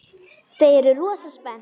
Þau eru rosa spennt.